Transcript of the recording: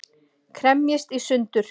Kremjist í sundur.